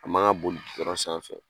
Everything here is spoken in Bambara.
A man ka boli gidɔrɔn sanfɛ